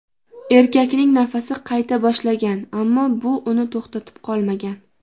Erkakning nafasi qayta boshlagan, ammo bu uni to‘xtatib qolmagan.